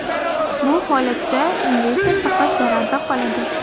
Bu holatda investor faqat zararda qoladi.